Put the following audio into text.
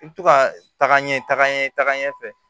I bɛ to ka taaga ɲɛ tagaɲɛ ta ka ɲɛ fɛ